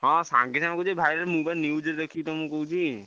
ହଁ ସାଙ୍ଗେ ସାଙ୍ଗେ ହଉଛି viral ମୁଁ ବା news ଦେଖିକି ତମକୁ କହୁଛି।